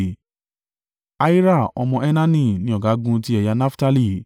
Ahira ọmọ Enani ni ọ̀gágun ti ẹ̀yà Naftali.